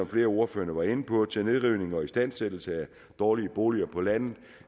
flere af ordførerne var inde på til nedrivning og istandsættelse af dårlige boliger på landet